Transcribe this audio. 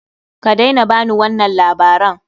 Kadaina ba ni wannan labaran!